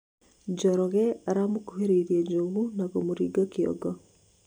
njoroge aramũkũhĩrĩirie njogu na kumuringa kĩongo